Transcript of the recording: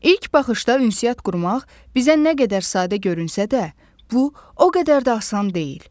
İlk baxışda ünsiyyət qurmaq bizə nə qədər sadə görünsə də, bu o qədər də asan deyil.